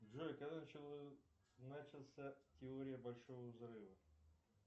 джой когда начался теория большого взрыва